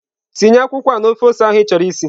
Tinye akwụkwọ a na ofe ose ahụ ịchọrọ isi!.